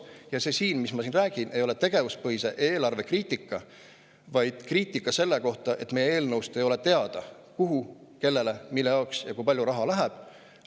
Ja see, mis ma siin räägin, ei ole mitte tegevuspõhise eelarve kriitika, vaid kriitika selle kohta, et meie eelnõust ei ole teada, kuhu, kellele, mille jaoks ja kui palju raha läheb.